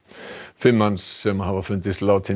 fimm manns sem hafa fundist látin í